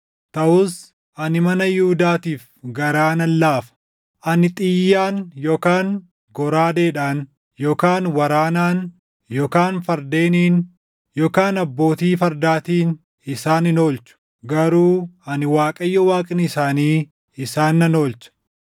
Taʼus ani mana Yihuudaatiif garaa nan laafa; ani xiyyaan yookaan goraadeedhaan yookaan waraanaan yookaan fardeeniin yookaan abbootii fardaatiin isaan hin oolchu; garuu ani Waaqayyo Waaqni isaanii isaan nan oolcha.”